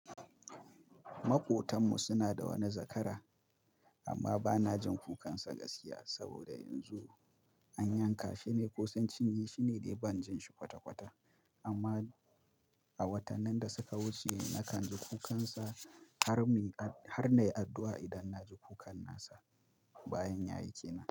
Maƙotan mu suna da wani zakara, amma ba na jin kukansa gaskiya saboda yanzu an yanka. Shi ne ko sun cinye, shi ne dai ban jin shi kwata-kwata. Amma a watannin da suka wuce na kan ji kukansa har muy har na yi addu'a idan na ji kukan nasa bayan ya yi ke nan.